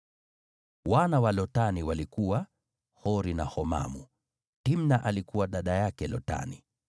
Wana wa Lotani walikuwa: Hori na Homamu. Timna alikuwa dada yake Lotani.